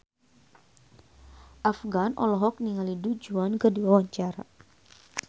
Afgan olohok ningali Du Juan keur diwawancara